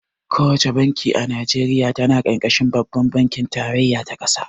Ko wace banki a Najeriya tana ƙarƙashin babban bankin tarayya ta ƙasa.